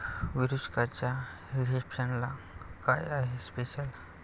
विरुष्काच्या रिसेप्शनला काय आहे स्पेशल?